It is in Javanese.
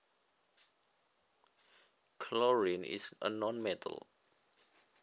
Chlorine is a nonmetal